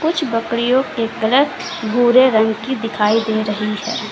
कुछ बकरियों के कलर भूरे रंग की दिखाई दे रही हैं।